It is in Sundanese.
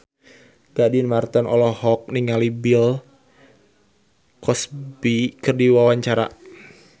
Gading Marten olohok ningali Bill Cosby keur diwawancara